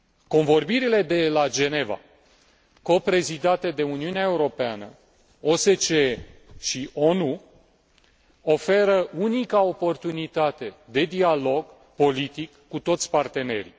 Convorbirile de la Geneva, coprezidate de Uniunea Europeană, OSCE și ONU, oferă unica oportunitate de dialog politic cu toți partenerii.